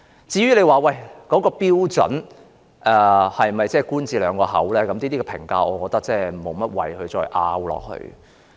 至於有關標準是否"官字兩個口"，我認為無謂再作爭論。